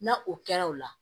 Na o kɛra o la